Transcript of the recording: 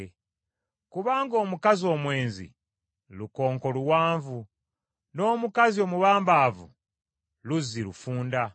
kubanga omukazi omwenzi lukonko luwanvu, n’omukazi omubambaavu luzzi lufunda.